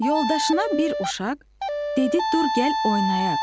Yoldaşına bir uşaq dedi: "Dur gəl oynayaq!"